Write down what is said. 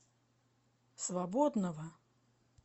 свободного